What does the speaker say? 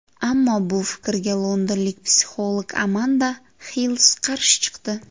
Ammo bu fikrga londonlik psixolog Amanda Hills qarshi chiqdi.